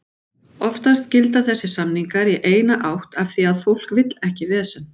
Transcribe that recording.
Oftast gilda þessir samningar í eina átt af því að fólk vill ekki vesen.